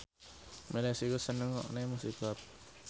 Miley Cyrus seneng ngrungokne musik rap